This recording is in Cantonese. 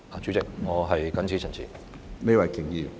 主席，我謹此陳辭。